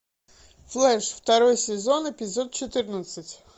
флэш второй сезон эпизод четырнадцать